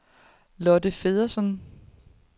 Lotte Feddersen